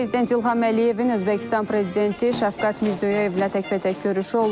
Prezident İlham Əliyevin Özbəkistan prezidenti Şəfqət Mirzoyevlə təkbətək görüşü olub.